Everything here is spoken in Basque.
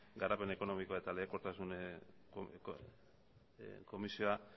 garapen ekonomiko eta lehiakortasun komisioa